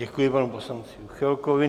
Děkuji panu poslanci Juchelkovi.